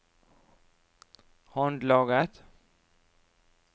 håndlaget